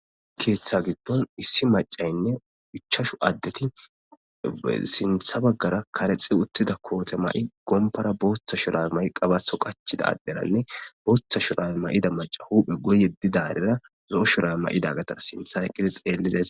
Keetha gidon issi macayne ichachu adeti sinthe bagara karexi uthida koothe mayi gompara bootha shurabe mayidi qabatho qachida aderane bootha shurabe mayida maciya huuphe guye yedidarira zo'o shurabe mayidi sinthe eqidarira beetosona.